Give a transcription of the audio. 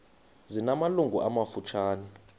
zina malungu amafutshane